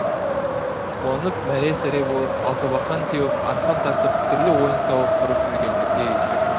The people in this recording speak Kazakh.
қуанып мәре сәре болып алтыбақан теуіп арқан тартып түрлі ойын сауық құрып жүргендерде есеп жоқ